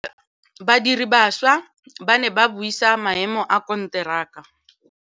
Badiri ba baša ba ne ba buisa maêmô a konteraka.